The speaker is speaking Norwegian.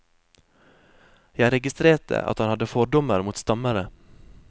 Jeg registrerte at han hadde fordommer mot stammere.